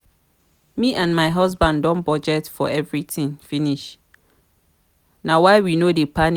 me and my husband don budget for everything finish na why we no dey panic